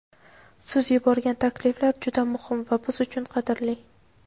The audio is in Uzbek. Siz yuborgan takliflar juda muhim va biz uchun qadrli.